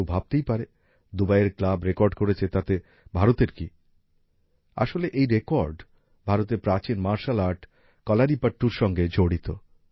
কেউ ভাবতেই পারে দুবাইয়ের ক্লাব রেকর্ড করেছে তো তাতে ভারতের কি আসলে এই রেকর্ড ভারতের প্রাচীন মার্শাল আর্ট কলারীপট্টুর সঙ্গে জড়িত